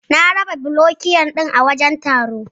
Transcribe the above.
Na raba Burokiyo din a wajan taron